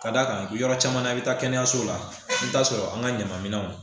Ka d'a kan yɔrɔ caman na i bɛ taa kɛnɛyaso la i bɛ taa sɔrɔ an ka ɲaman minɛnw